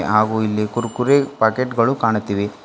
ಹಾಗೂ ಇಲ್ಲಿ ಕುರ್ಕುರೆ ಪ್ಯಾಕೆಟ್ ಗಳು ಕಾಣುತ್ತಿವೆ.